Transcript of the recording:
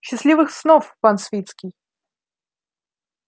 счастливых снов пан свицкий